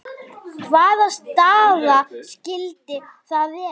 Hvaða staða skyldi það vera?